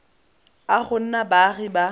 a go nna baagi ba